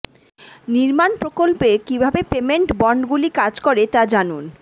নির্মাণ প্রকল্পে কীভাবে পেমেন্ট বন্ডগুলি কাজ করে তা জানুন